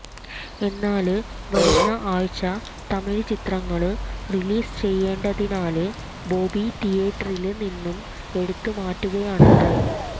എന്നാല് വരുന്ന ആഴ്ച തമിഴ് ചിത്രങ്ങള് റിലീസ് ചെയ്യേണ്ടതിനാല് ബോബി തിയേറ്ററില് നിന്നും എടുത്ത് മാറ്റുകയാണത്രെ